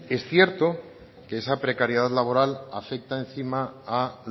es cierto que esa precariedad laboral afecta encima a